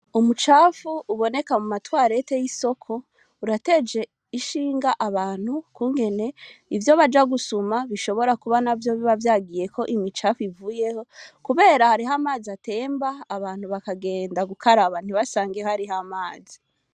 Umu cafu uboneka muma twarete y'isoko urateje ishinga abantu ukungene ivyo baja gusuma bishobora kuba navyo kuba vyagiyeko imicafu ivuyeho kubera hariho amazi atemba abantu bakagenda gukaraba ntibasange hariho amazi.